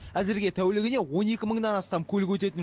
әзірге тәулігіне он екі мыңнан астам көлік өтетін